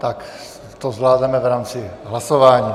Tak to zvládneme v rámci hlasování.